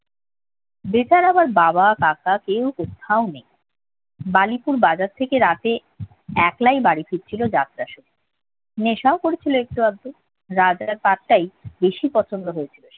বেতার আবার বাবা কাকা কেউ কোথাও নেই বালিপুর বাজার থেকে রাতে একলাই বাড়ি ফিরছিল যাত্রা শুনে নেশাও করেছিল একটু আধটু রাজার পাঠটাই বেশি পছন্দ হয়েছিল সে